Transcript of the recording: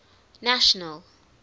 national